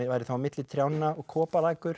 væri þá milli trjánna og